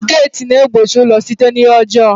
Geeti na-egbochi ụlọ site n'ihe ọjọọ